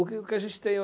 O que o que a gente tem é